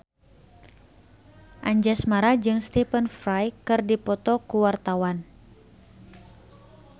Anjasmara jeung Stephen Fry keur dipoto ku wartawan